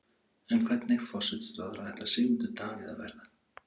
En hvernig forsætisráðherra ætlar Sigmundur Davíð að verða?